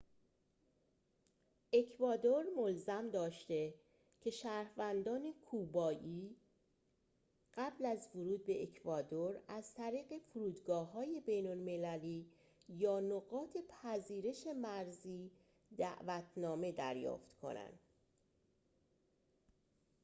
اکوادور ملزم داشته که شهروندان کوبایی قبل از ورود به اکوادور از طریق فرودگاه‌های بین‌المللی یا نقاط پذیرش مرزی دعوتنامه دریافت کنند